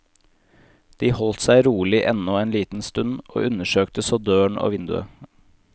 De holdt seg rolig ennå en liten stund, og undersøkte så døren og vinduet.